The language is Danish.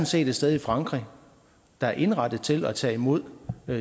set et sted i frankrig der er indrettet til at tage imod